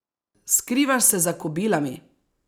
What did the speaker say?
Skrivaš se za kobilami!